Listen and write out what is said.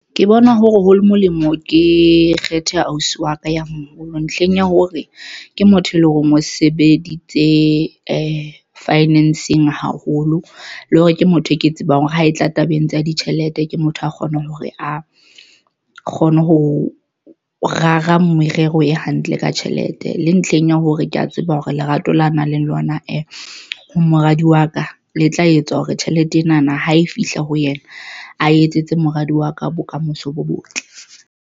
Ke bona hole molemo ke kgethe ausi wa ka ya moholo ntlheng ya hore ke motho e leng horeng o sebeditse finance-ng haholo le hore ke motho e ke tsebang hore ha e tla tabeng tsa ditjhelete ke motho a kgona hore a kgone ho rara merero e hantle ka tjhelete le ntlheng ya hore ke ya tseba hore lerato la nang le lona ho moradi wa ka le tla etsa hore tjhelete ena na ha e fihla ho yena a etsetse moradi wa ka, bokamoso bo botle.